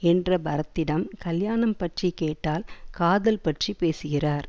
என்ற பரத்திடம் கல்யாணம் பற்றி கேட்டால் காதல் பற்றி பேசுகிறார்